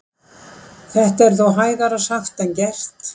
Þetta er þó hægara sagt en gert.